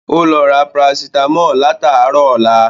Ó lọ ra Parasítámọ̀ látàárọ̀ ọlá